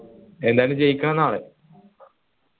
എന്തായാലും ജയിക്കണം നാളെ